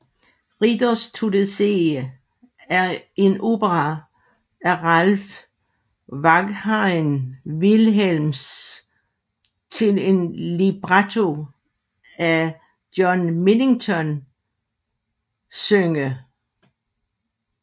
Riders to the Sea er en opera af Ralph Vaughan Williams til en libretto af John Millington Synge